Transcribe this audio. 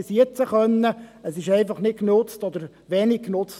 Es wurde einfach nicht oder wenig genutzt.